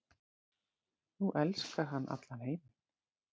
Nú elskar hann allan heiminn.